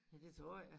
Ja det tror jeg